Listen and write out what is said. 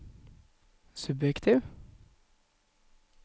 subjektiv